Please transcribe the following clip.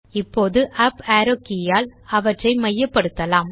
இப்போது up arrow key யால் அவற்றை மையப்படுத்தலாம்